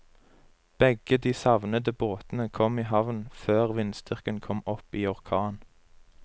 Begge de savnede båtene kom i havn før vindstyrken kom opp i orkan.